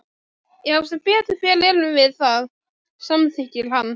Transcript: Já sem betur fer erum við það, samþykkir hann.